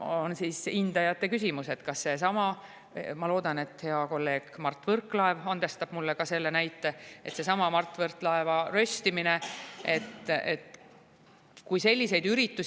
On hindajate küsimus, et kui selliseid üritusi, nagu on seesama – ma loodan, et hea kolleeg Mart Võrklaev andestab mulle selle näite – "Mart Võrklaeva röst",